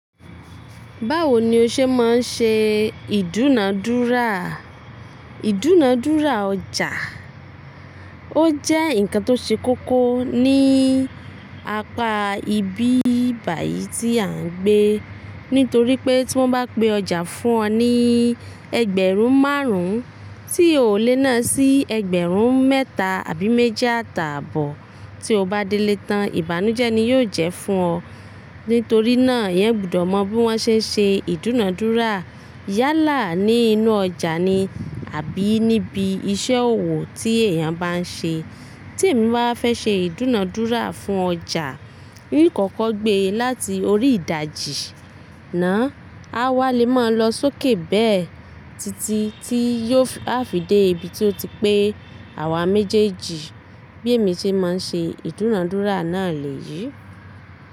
Báwo ni o ṣe máa ń ṣe ìdúnadúrà? Ìdúnadúrà ọjà, ó jẹ́ ǹkan tó ṣe kókó ní apá ibi bà yìí tí à ń gbé. Nítorí pé tí wọ́n bá pé ọjà fún ọ ní ẹgbẹ̀rún márùn-ún tí o lè náà sí ẹgbẹ̀rún mẹ́ta àbí méjì àtàbọ̀ tí o bá délé tán, ìbànújẹ́ ni yóò jẹ́ fún ọ. Nítorí náà, ìyẹn gbudọ̀ mọ bí wọ́n ṣe ń ṣe ìdúnadúrà yálà ní inú ọjà ni àbí níbi iṣẹ́ òwò tí èèyàn bá ń ṣe. Tí èmi bá fẹ́ ṣe ìdúnadúrà fún ọjà, n kọ̀kọ̀ gbé e láti orí ìdajì náà, a wá lè máa lọ sókè bẹ́ẹ̀ títí tí yóò á fi dé ibi tí ó ti pé àwa méjèèjì bí èmi ṣe máa ń ṣe ìdúnadúrà náà lèyí.